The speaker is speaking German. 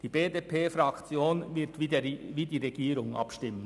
Die BDP-Fraktion wird wie die Regierung abstimmen.